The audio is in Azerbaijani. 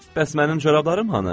Bəs mənim corablarım hanı?